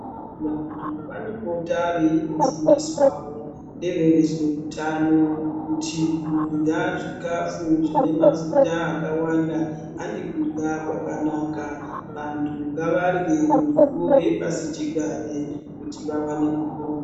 Vantu vanopota veindofundiswawo nevezveutano kuti kurya zvikafu zvine mafuta akawanda handi kurya kwakanaka vantu ngavarye miriwo yepasichigare kuti vawane kupona.